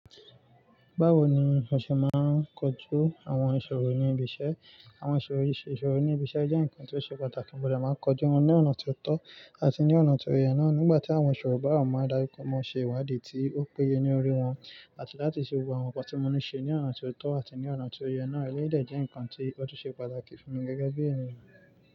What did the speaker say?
Báwo ni o ṣe máa ń kojú àwọn ìṣòro ní ibi iṣẹ́? Àwọn ìṣòro ìṣòro ní ibi iṣẹ́ jẹ́ ǹkan tó ṣe pàtàkì, mo dà máa ń kojú wọn ní ọ̀nà tó tọ́ àti ní ọ̀nà tó yẹ náà. Nígbà tí àwọn ìṣòro bá wà, mo mári daju pe, mo ṣe ìwádìí tí ó péye lórí wọn àti láti ṣe gbogbo àwọn nǹkan tí mo ní ṣe ní ọ̀nà tó tọ́ àti ní ọ̀nà tó yẹ náà. Eleyu dẹ́ jẹ́ ǹkan tí ó tun ṣe pàtàkì fún mi gẹ́gẹ́ bí ènìyàn.